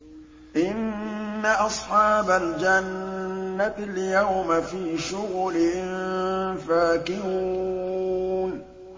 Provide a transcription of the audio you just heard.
إِنَّ أَصْحَابَ الْجَنَّةِ الْيَوْمَ فِي شُغُلٍ فَاكِهُونَ